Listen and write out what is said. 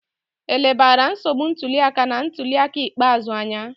E lebara nsogbu ntuli aka na ntuli aka ikpeazụ anya?